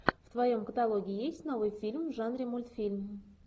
в твоем каталоге есть новый фильм в жанре мультфильм